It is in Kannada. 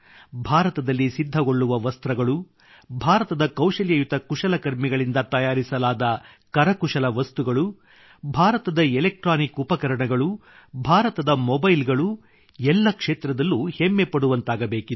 ಭಾರತದಲ್ಲಿ ಸಿದ್ಧಗೊಳ್ಳುವ ವಸ್ತ್ರಗಳು ಭಾರತದ ಕೌಶಲ್ಯಯುತ ಕುಶಲಕರ್ಮಿಗಳಿಂದ ತಯಾರಿಸಲಾದ ಕರಕುಶಲ ವಸ್ತುಗಳು ಭಾರತದ ಎಲೆಕ್ಟ್ರಾನಿಕ್ ಉಪಕರಣಗಳು ಭಾರತದ ಮೊಬೈಲ್ ಗಳು ಎಲ್ಲ ಕ್ಷೇತ್ರದಲ್ಲೂ ಹೆಮ್ಮೆಪಡುವಂತಾಗಬೇಕಿದೆ